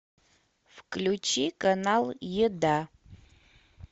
включи канал еда